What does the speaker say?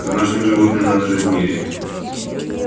с домашними животными надо жить в мире